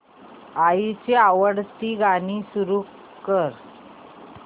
आईची आवडती गाणी सुरू कर